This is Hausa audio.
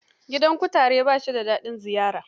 Gidan kutare ba shi da dain ziyara.